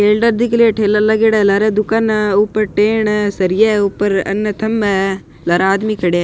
Elder दिख रियो है ठेला लागेडा है लार दुकाना है ऊपर टेन है सरिया है ऊपर अन थंबा है लार आदमी खड़या है।